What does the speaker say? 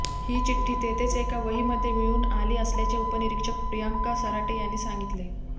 ही चिठ्ठी तेथेच एका वहीमध्ये मिळून आली असल्याचे उपनिरीक्षक प्रियांका सराटे यांनी सांगितले